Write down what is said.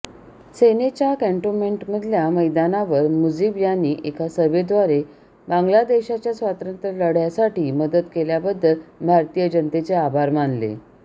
सेनेच्या कँटोन्मेंटमधल्या मैदानावर मुजीब यांनी एका सभेद्वारे बांगलादेशाच्या स्वातंत्र्यलढयासाठी मदत केल्याबद्दल भारतीय जनतेचे आभार मानले